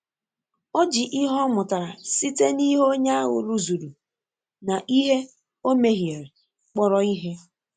Ọ ji ihe o mụtara site n’ihe onye ahụ rụzuru na ihe o mehiere kpọrọ ihe.